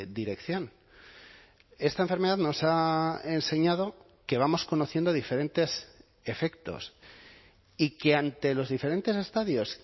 dirección esta enfermedad nos ha enseñado que vamos conociendo diferentes efectos y que ante los diferentes estadios